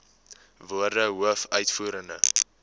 woorde hoof uitvoerende